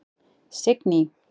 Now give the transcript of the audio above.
Signý